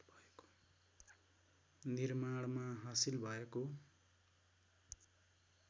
निर्माणमा हासिल भएको